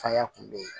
Faya kun be yen